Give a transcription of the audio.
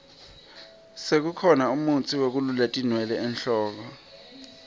sekukhona mutsi wekulula tinwele enhloko